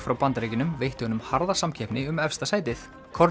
frá Bandaríkjunum veitti honum harða samkeppni um efsta sætið